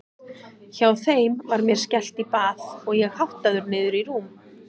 Hjá þeim var mér skellt í bað og ég háttaður niður í rúm.